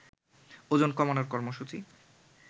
ওজন কমানোর কর্মসূচী